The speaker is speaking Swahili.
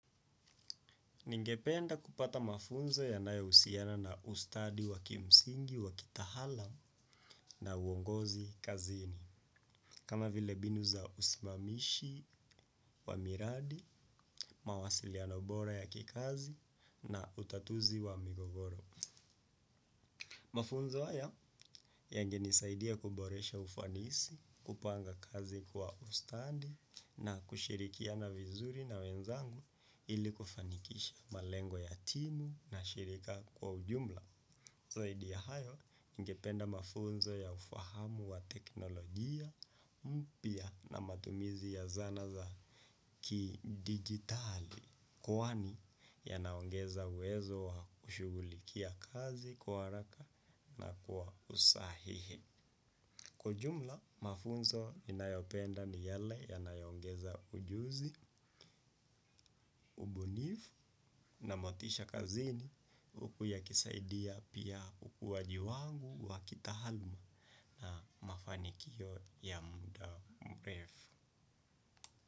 Ningependa kupata mafunzo yanayohusiana na ustadi wa kimsingi wa kitaalam na uongozi kazini. Kama vile mbinu za usimamishi wa miradi, mawasiliano bora ya kikazi na utatuzi wa migogoro. Mafunzo haya yangenisaidia kuboresha ufanisi, kupanga kazi kwa ustadi na kushirikiana vizuri na wenzangu ili kufanikisha malengo ya timu na shirika kwa ujumla. Zaidi ya hayo, ningependa mafunzo ya ufahamu wa teknolojia mpya na matumizi ya zana za kidigitali kwani yanaongeza uwezo wa kushughulikia kazi kwa haraka na kwa usahihi. Kwa ujumla mafunzo ninayopenda ni yale yanayoongeza ujuzi na motisha kazini huku yakisaidia pia ukuwaji wangu wa kitaaluma na mafanikio ya muda mrefu.